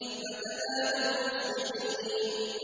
فَتَنَادَوْا مُصْبِحِينَ